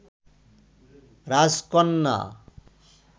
রাজকন্যা